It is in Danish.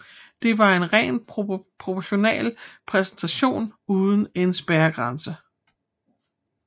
Der var en ren proportional repræsentation uden en spærregrænse